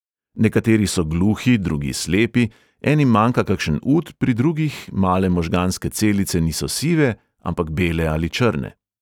Nekateri so gluhi, drugi slepi, enim manjka kakšen ud, pri drugih male možganske celice niso sive, ampak bele ali črne.